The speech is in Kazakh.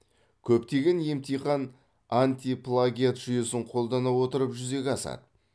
көптеген емтихан антиплагиат жүйесін қолдана отырып жүзеге асады